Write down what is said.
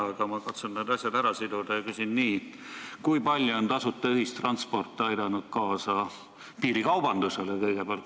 Aga ma katsun need asjad ära siduda ja küsin nii: kui palju on tasuta ühistransport aidanud kõigepealt kaasa piirikaubandusele?